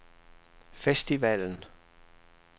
festivalen